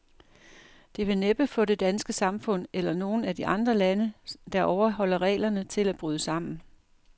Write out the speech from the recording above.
Det vil næppe få det danske samfund, eller nogen af de andre lande, der overholder reglerne, til at bryde sammen.